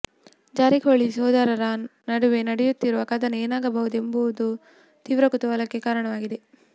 ಜಾರಕಿಹೊಳಿ ಸೋದರರ ನಡುವೆ ನಡೆಯುತ್ತಿರುವ ಕದನ ಏನಾಗಬಹುದು ಎಂಬುದು ತೀವ್ರ ಕುತೂಹಲಕ್ಕೆ ಕಾರಣವಾಗಿದೆ